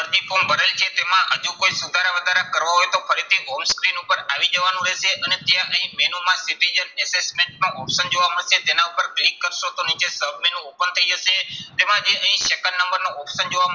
અરજી form ભરેલ છે તેમાં હજુ કોઈ સુધારા વધારા કરવા હોય તો ફરીથી screen ઉપર આવી જવાનું રહેશે અને ત્યાં અહીં menu માં assessment નું option જોવા મળશે. તેના ઉપર click કરશો તો નીચે submenu open થઇ જશે. તેમાં જે અહીં second નંબરનું option જોવા